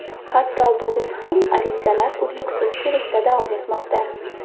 Hatto bugun ham arizalar uzluksiz kelishda davom etmoqda.